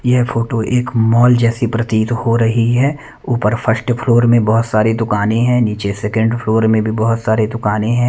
यह फोटो एक मॉल जैसी प्रतीत हो रही है ऊपर फर्स्ट फ्लोर में बहोत सारी दुकाने हैं नीचे सेकंड फ्लोर में भी बहोत सारे दुकान हैं।